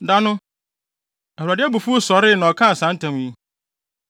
Da no Awurade abufuw sɔree na ɔkaa saa ntam yi: